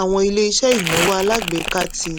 àwọn ilé iṣẹ́ ìnáwó alágbèéká ti